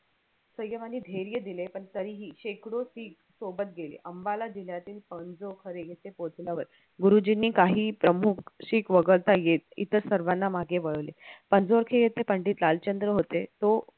सय्यम आणि धैर्य दिले पण तरीही शेकडो शीख सोबत गेले अंबाला जिल्ह्यातील येथे पोहोचल्यावर गुरुजींनी काही प्रमुख शीख वगळता येत इथे सर्वाना मागे वळले येथे पंडित लालचंद्र होते तो